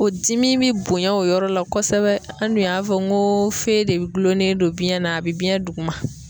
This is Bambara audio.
O dimi bi bonya o yɔrɔ la kosɛbɛ an dun y'a fɔ ko fe de be gulɔlen don biɲɛn na a bi biyɛn duguma